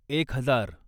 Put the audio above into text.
एक हजार